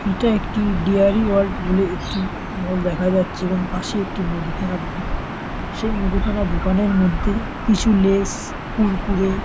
এটা একটি dairy world বলে একটি মল দেখা যাচ্ছে এবং পাশে একটি মুদিখানা দোকান। সেই মুদিখানা দোকানের মধ্যে কিছু লেস কুরকুরে --